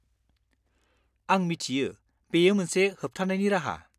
आं मिथियो, बेयो मोनसे होबथानायनि राहा।